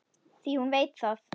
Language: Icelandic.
Því hún veit það.